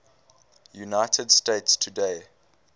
united states today